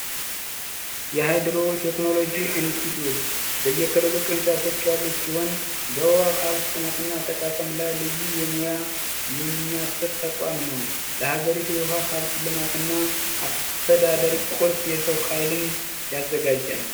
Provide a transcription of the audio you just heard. የሀይድሮ ቴክኖሎጂ ኢንስቲትዩት በየክልሉ ቅርንጫፎች ያሉት ሲሆን በዉሃ ሃብት ጥናት እና አጠቃቀም ላይ ልዩ የሙያ የሚያሰጥ ተቋም ነው ለሀገሪቱ የውሀ ሃብት ልማት እና አስተዳደር ቁልፍ የሰው ሀብት ያዘጋጃል።